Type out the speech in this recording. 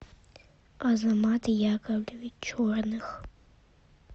азамат яковлевич черных